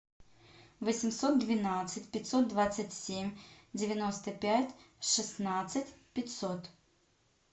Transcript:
восемьсот двенадцать пятьсот двадцать семь девяносто пять шестнадцать пятьсот